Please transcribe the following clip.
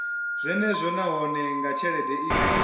zwenezwo nahone nga tshelede ine